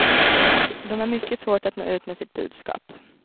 De har mycket svårt att nå ut med sitt budskap.